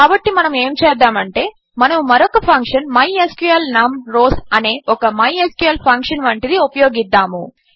కాబట్టి మనము ఏమి చేద్దామంటే మనము మరొక ఫంక్షన్ మైస్క్ల్ నమ్ రౌస్ అనే ఒక మైస్క్ల్ ఫంక్షన్ వంటిది ఉపయోగిద్దాము